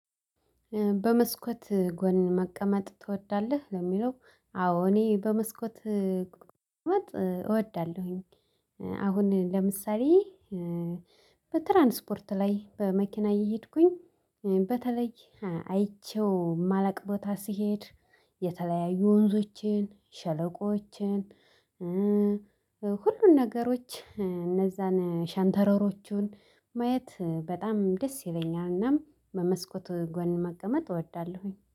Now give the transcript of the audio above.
በመስኮት ጎን መቀመጥ ትወዳለህ ለሚለው አዎ እኔ በመስኮት መቀመጥ እወዳለሁኝ። አሁን ለምሳሌ በትራንስፖርት ላይ በመኪና እየሄድኩኝ። በተለይ አይቼው ማላቅ ቦታ ሲሄድ የተለያዩ ወንዞችን ሸለቆችን። ሁሉን ነገሮች እነዛን ሻንተረሮቹን ማየት በጣም ደስ ይለኛል። እናም በመስኮት ጎን መቀመጥ እወዳለሁኝ።